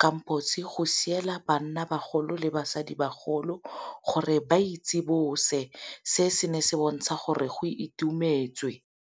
kampo go siela bannabagolo le basadibagolo gore ba itsibose, se ne se bontsha gore go itumetswe.